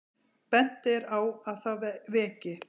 Bent er á að það veki